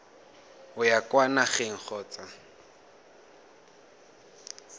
o ya kwa nageng kgotsa